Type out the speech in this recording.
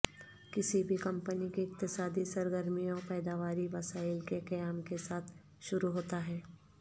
کسی بھی کمپنی کے اقتصادی سرگرمیوں پیداواری وسائل کے قیام کے ساتھ شروع ہوتا ہے